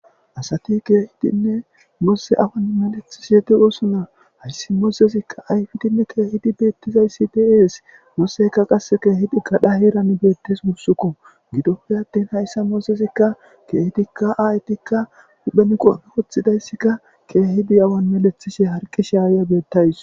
Asati keehidinne moose awan melethish yeti osuna hayssi moozezikka ayfidinne keehidi beettizayssi deees mooseykka qasse keehidi kadhaheeran beettes wussukko gidoppe attin hayssa moozezikka keehidikka aayetikka huphenqope woththidayssikka keehidi awan melethishe harqi shaaya beettays.